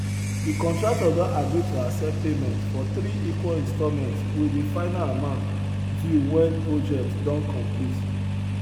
de contractor don agree to accept payment for three equal installments wit de final amount due wen project don complete